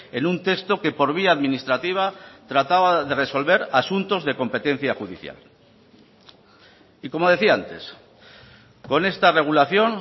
en un texto que por vía administrativa trataba de resolver asuntos de competencia judicial y como decía antes con esta regulación